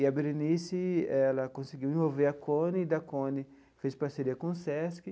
E a Berenice ela conseguiu envolver a CONE e da CONE fez parceria com o SESC.